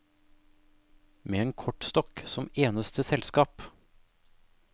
Med en kortstokk som eneste selskap.